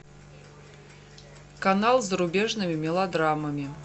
канал с зарубежными мелодрамами